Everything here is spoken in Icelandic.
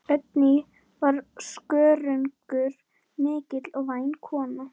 Oddný var skörungur mikill og væn kona.